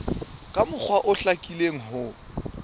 ka mokgwa o hlakileng ho